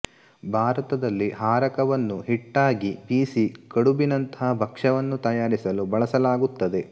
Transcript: ಭಾರತದಲ್ಲಿ ಹಾರಕವನ್ನು ಹಿಟ್ಟಾಗಿ ಬೀಸಿ ಕಡುಬಿನಂಥ ಭಕ್ಷ್ಯವನ್ನು ತಯಾರಿಸಲು ಬಳಸಲಾಗುತ್ತದೆ